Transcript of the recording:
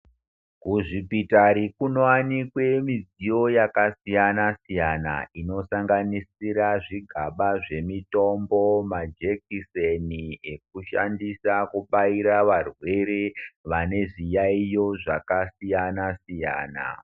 Kuzvipitari kubowanikwe midziyo yakasiyana siyana zvigaba zvemitombo ma jekiseni ekushandisa kubaira varwere vane zviyaiyo zvaka siyana siyana .